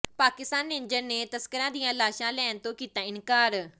Pakistan ranger ਨੇ ਤਸਕਰਾਂ ਦੀਆਂ ਲਾਸ਼ਾਂ ਲੈਣ ਤੋਂ ਕੀਤਾ ਇਨਕਾਰ